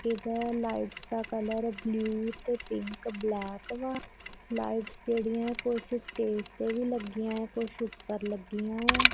ਇਧਰ ਲਾਈਟਸ ਦਾ colour blue ਤੇ ਪਿੰਕ ਬਲੈਕ ਵਾ ਲਾਈਟਸ ਜੇੜੀਆ ਓਹ ਕੁਝ ਸਟੇਜ ਤੇ ਵੀ ਲੱਗੀਆਂ ਕੁਛ ਉੱਪਰ ਲੱਗੀਆਂ ਆ।